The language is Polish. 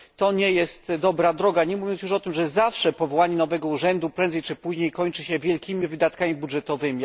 Nie jest to dobra droga, nie mówiąc już o tym, że zawsze powołanie nowego urzędu kończy się wcześniej czy później wielkimi wydatkami budżetowymi.